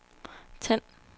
tænd